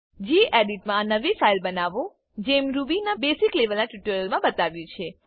gedit મા નવી file બનાવો જેમ રૂબીના બેસિક લેવલના ટ્યુટોરિયલ્સમા બતાવ્યું છે